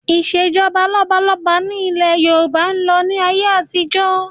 Ìsèjọba lọ́balọ́ba ni ilẹ̀ Yorùbá ń lò ní ayé àtijọ́